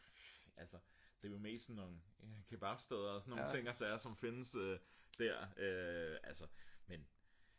altså det er mest sådan nogle kebabsteder og sådan nogle ting og sager som findes der altså men